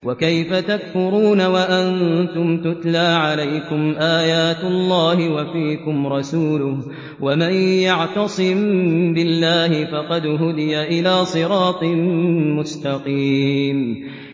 وَكَيْفَ تَكْفُرُونَ وَأَنتُمْ تُتْلَىٰ عَلَيْكُمْ آيَاتُ اللَّهِ وَفِيكُمْ رَسُولُهُ ۗ وَمَن يَعْتَصِم بِاللَّهِ فَقَدْ هُدِيَ إِلَىٰ صِرَاطٍ مُّسْتَقِيمٍ